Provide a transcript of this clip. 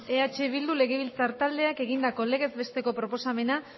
eh bildu legebiltzar taldeak egindako legez besteko proposamena